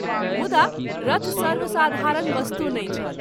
मुंदा रथ सर्वसाधारण वस्तु नहिं छल।